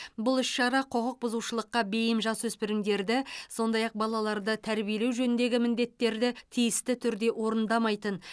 бұл іс шара құқық бұзушылыққа бейім жасөспірімдерді сондай ақ балаларды тәрбиелеу жөніндегі міндеттерді тиісті түрде орындамайтын